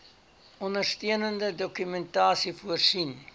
ondersteunende dokumentasie voorsien